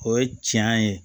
O ye tiɲɛ ye